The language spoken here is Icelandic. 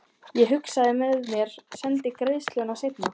Ég hugsaði með mér: Sendi greiðsluna seinna.